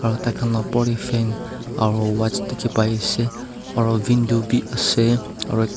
aro taikhan laga aro watch diki pai asae aro window bi asae aro.